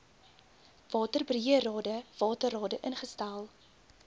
waterbeheerrade waterrade ingestel